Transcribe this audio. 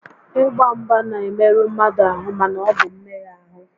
Ị gba mgba n'emerụ mmadụ ahụ mana ọ bụ mmegha ahụ